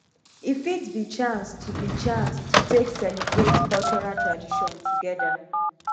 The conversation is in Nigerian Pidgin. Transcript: e fit bi chance to bi chance to take celibrate cultural tradition togeda